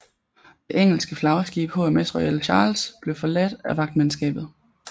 Det engelske flagskib HMS Royal Charles blev forladt af vagtmandskabet